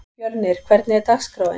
Fjölnir, hvernig er dagskráin?